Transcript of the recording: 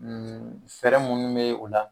fɛɛrɛ minnu bɛ o la